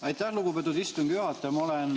Aitäh, lugupeetud istungi juhataja!